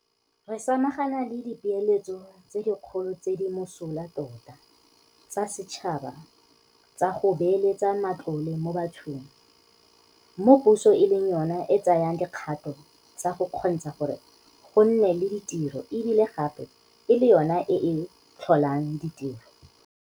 Re samagana le dipeeletso tse dikgolo tse di mosola tota tsa setšhaba tsa go beeletsa matlole mo bathong, mo puso e leng yona e tsayang dikgato tsa go kgontsha gore go nne le ditiro e bile gape e le yona e e tlholang ditiro.